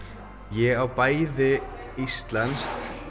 ég á bæði íslenskt